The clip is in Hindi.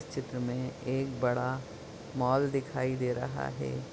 इस चित्र मे एक बड़ा माल दिखाई दे रहा है।